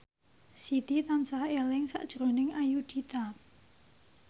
Siti tansah eling sakjroning Ayudhita